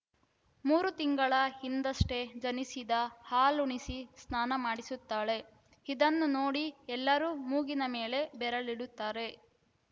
ಮೂರು ತಿಂಗಳ ಹಿಂದಷ್ಟೇ ಜನಿಸಿದ ಹಾಲುಣಿಸಿ ಸ್ನಾನ ಮಾಡಿಸುತ್ತಾಳೆ ಇದನ್ನು ನೋಡಿ ಎಲ್ಲರೂ ಮೂಗಿನ ಮೇಲೆ ಬೆರಳಿಡುತ್ತಾರೆ